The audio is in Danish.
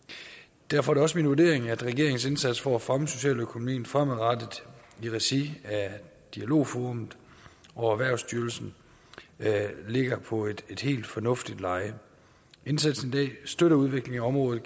derfor er det også min vurdering at regeringens indsats for at fremme socialøkonomien fremadrettet i regi af dialogforum og erhvervsstyrelsen ligger på et helt fornuftigt leje indsatsen i dag støtter udviklingen af området